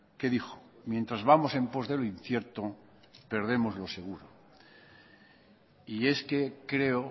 que dijo mientras vamos en pos de lo incierto perdemos lo seguro y es que creo